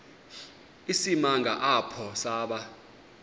isimanga apho saba